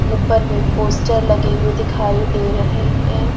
ऊपर में पोस्टर लगे हुए दिखाई दे रहे हैं।